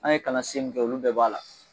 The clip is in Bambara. An ye kalan sen min kɛ olu bɛɛ b'a la